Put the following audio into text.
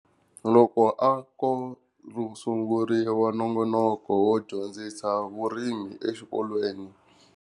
Loko a ko ku sunguriwa nongonoko wo dyondzisa vurimi exikolweni.